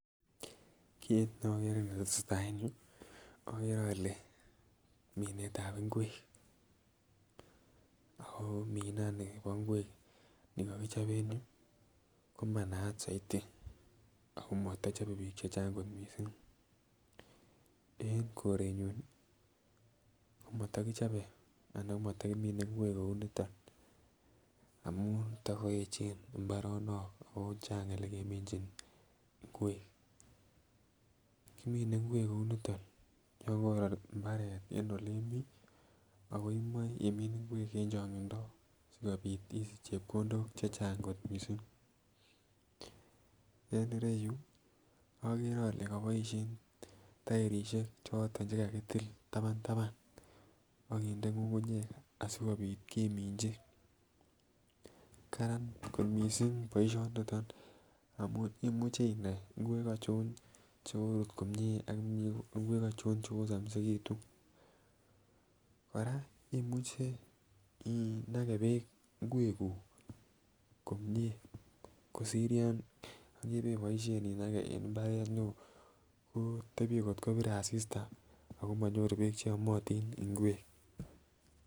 Kit nokere netetai en yuu okere ole minetab ingwek ako minani bo ingwek nikokichob en yuu ko manaat soiti ako motochobe bik che Chang kot missing en korenyun komotokichobe anan ko motokimine ingwek kou niton amun tokoeche imbaronik ako Chang olekeminchin ngwek. Kimine ngwek kou niton yon koror imbaret en ole imii ako imoi imii ingwek en chongindo sikopit isich chepkondok che chang kot missing, en ireyuu okere ole koboishen toerishek choton chekakitil taban taban okinde ngungunyek sikopit keminchi. Karan kot missing boishoniton amun imuche inai ingwek ochon chekorut komie ak ingwek ochon chekosomisekitun. Koraa imuche inake beek ingwek kuuk komie kosir yon kebeboishen inake en imbaret neo koo tebie kotko bire asista ako monyoru beek cheyomotin ingwek.